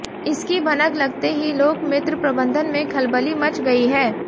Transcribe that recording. इसकी भनक लगते ही लोकमित्र प्रबंधन में खलबली मच गई है